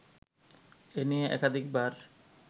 এ নিয়ে একাধিকবার